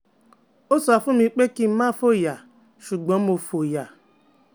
O sọ fun mi pe kin má foya ṣugbọn Mo foya